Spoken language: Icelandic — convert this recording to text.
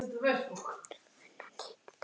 Finna nýtt plan.